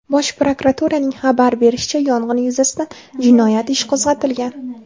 Bosh prokuraturaning xabar berishicha , yong‘in yuzasidan jinoyat ishi qo‘zg‘atilgan.